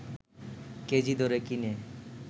KG দরে কিনে